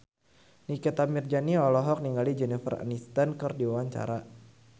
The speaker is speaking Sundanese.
Nikita Mirzani olohok ningali Jennifer Aniston keur diwawancara